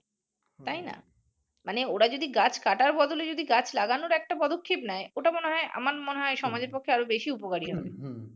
তাই না? মানে ওরা যদি গাছ কাটার বদলে গাছ লাগানোর একটা পদক্ষেপ নেয় ওটা মনে হয় আমার মনে হয় সমাজের পক্ষে আরো বেশী উপকারী হবে